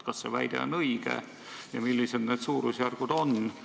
Kas see väide on õige ja millised on need suurusjärgud?